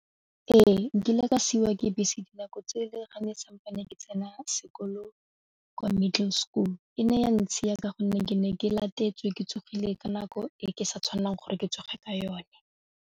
Ee, nkile ka siwa ke bese dinako tse le gane semane ke tsena sekolo kwa middle school e ne ya ntshiya ka gonne ke ne ke latetswe ke tsogile ka nako e ke sa tshwanelang gore ke tsoge ka yone.